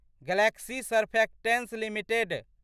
Galaxy Surfactants limited